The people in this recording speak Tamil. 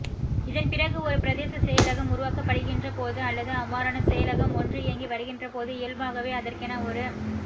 இதன் பிறகு ஒரு பிரதேச செயலகம் உருவாக்கப்படுகின்றபோது அல்லது அவ்வாறான செயலகம் ஒன்று இயங்கி வருகின்றபோது இயல்பாகவே அதற்கென ஒரு